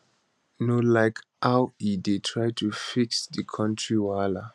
no like how e dey try to fix di kontiri wahala